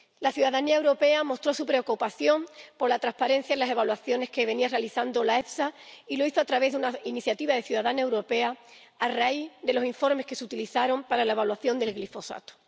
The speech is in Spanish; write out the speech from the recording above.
La ciudadanía europea mostró su preocupación por la transparencia en las evaluaciones que venía realizando la EFSA —y lo hizo a través de una iniciativa ciudadana europea—, a raíz de los informes que se utilizaron para la evaluación del glifosato.